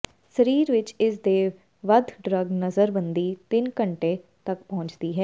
ਸਰੀਰ ਵਿੱਚ ਇਸ ਦੇ ਵੱਧ ਡਰੱਗ ਨਜ਼ਰਬੰਦੀ ਤਿੰਨ ਘੰਟੇ ਤੱਕ ਪਹੁੰਚਦੀ ਹੈ